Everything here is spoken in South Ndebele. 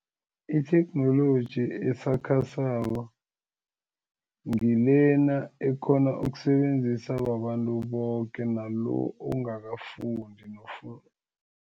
Itheknoloji esakhasako ngilena ekhona ukusebenzisa babantu boke nalo ongakafundi